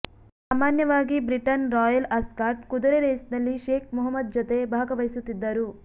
ಸಾಮಾನ್ಯವಾಗಿ ಬ್ರಿಟನ್ನ royal Ascot ಕುದುರೆ ರೇಸ್ನಲ್ಲಿ ಶೇಖ್ ಮುಹಮ್ಮದ್ ಜತೆ ಭಾಗವಹಿಸುತ್ತಿದ್ದರು